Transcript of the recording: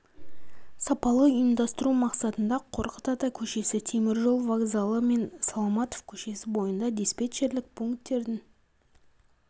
сапалы ұйымдастыру мақсатында қорқыт ата көшесі темір жол вокзалы мен саламатов көшесі бойында диспетчерлік пункттердің